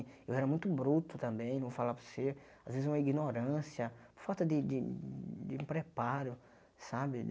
Eu era muito bruto também, não vou falar para você, às vezes uma ignorância, falta de de de preparo, sabe?